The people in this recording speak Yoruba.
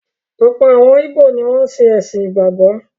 Ọ̀pọ̀ àwọn ìgbò ni wọ́n ṣe “ẹ̀sìn ìgbàgbọ́”.